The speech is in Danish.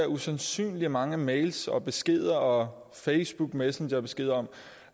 usandsynlig mange mails beskeder og facebook messenger beskeder